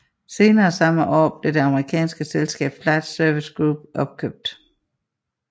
Senere samme år blev det amerikanske selskab Flight Services Group opkøbt